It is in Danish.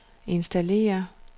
installere